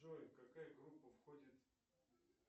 джой какая группа входит